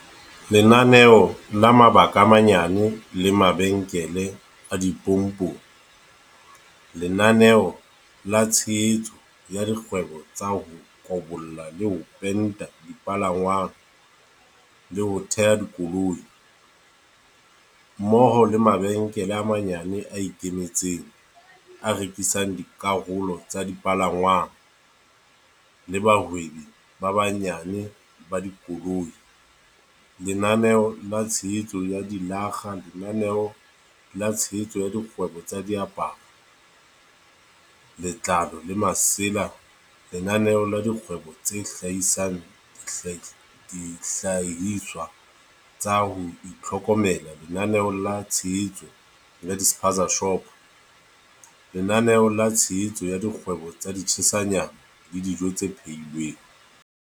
Lenaneo la mabaka a manyane le mabenkele a dipompong Lenaneo la tshehetso ya dikgwebo tsa ho kobolla le ho penta dipalangwang le ho teha dikoloi, mmoho le mabenkele a manyane a ikemetseng a rekisang dikarolo tsa dipalangwang le bahwebi ba banyane ba dikoloi, Lenaneo la tshehetso ya dilakga Lenaneo la tshehetso ya dikgwebo tsa diaparo, letlalo le masela Lenaneo la dikgwebo tse hlahisang dihlahiswa tsa ho itlhokomela Lenaneo la tshehetso ya di-spaza-shopo Lenaneo la tshehetso ya dikgwebo tsa di-tshisa nyama le dijo tse phehi lweng